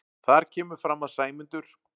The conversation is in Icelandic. Þar kemur fram að Sæmundur